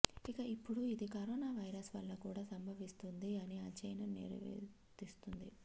ఇక ఇప్పుడు ఇది కరోనావైరస్ వల్ల కూడా సంభవిస్తుంది అని అధ్యయనం నివేదిస్తుంది